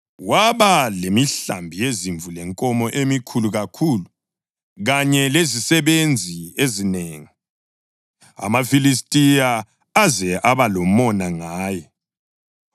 Waba lemihlambi yezimvu lenkomo emikhulu kakhulu, kanye lezisebenzi ezinengi, amaFilistiya aze aba lomona ngaye.